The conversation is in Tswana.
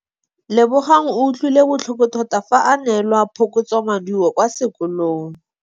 Lebogang o utlwile botlhoko tota fa a neelwa phokotsômaduô kwa sekolong.